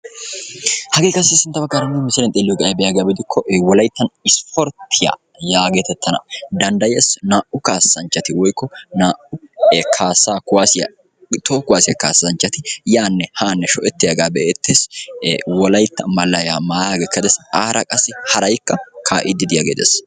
Hagee qassi nu misiliyan sintta baggaara xeelliyogee ayibee giyaba gidikko wolayittan isporttiya yaagetettana danddayees. Naa"u kaassanchchati woyikko naa"u kaassaa kuwaaziya kaassaa toho kuwaaziya kaassanchchati yaanna haanne sho'ettiyagaa be'eettes. Wolayitta malayaa mayaagee Des. Aara qassi harayikka kaa'iiddi de'iyagee de'es.